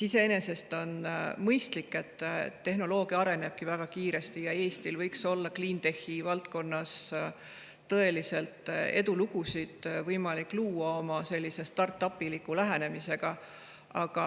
Iseenesest on see mõistlik, sest tehnoloogia arenebki väga kiiresti ja Eestil võiks olla clientech'i valdkonnas võimalik luua tõelisi edulugusid oma sellise start‑up'iliku lähenemisega.